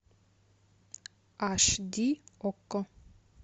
аш ди окко